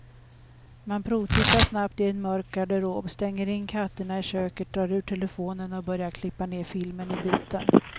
Man provtittar snabbt i en mörk garderob, stänger in katterna i köket, drar ur telefonen och börjar klippa ner filmen i bitar.